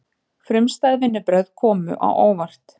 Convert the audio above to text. Frumstæð vinnubrögð komu á óvart